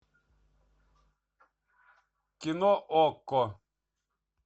кино окко